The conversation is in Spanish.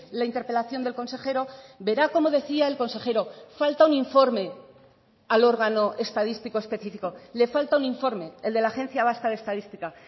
la interpelación del consejero verá cómo decía el consejero falta un informe al órgano estadístico específico le falta un informe el de la agencia vasca de estadística